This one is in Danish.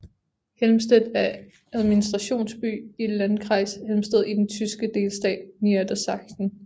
Helmstedt er administrationsby i Landkreis Helmstedt i den tyske delstat Niedersachsen